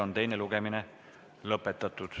Teine lugemine on lõppenud.